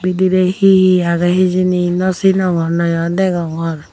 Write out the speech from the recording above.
bidirey hihi agey hijeni nw sinongor nayo degongor.